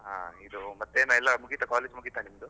ಹಾ, ಇದು ಮತ್ತೇನು ಎಲ್ಲ ಮುಗಿತಾ college ಎಲ್ಲ ಮುಗಿತಾ ನಿಮ್ದು?